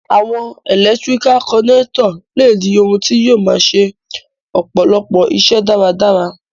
Àwon electrical connector le di oun ti yio ma se ọ̀pọ̀lọpọ̀ isẹ́ dáradára